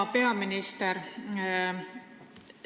Hea peaminister!